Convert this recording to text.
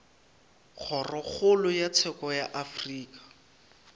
kgorokgolo ya tsheko ya afrika